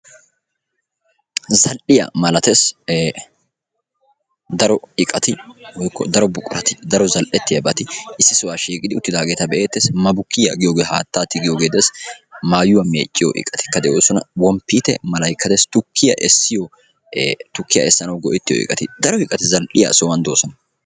za"iya sohuwani daro miishati issi sohuwani de"iyagetti beettosona.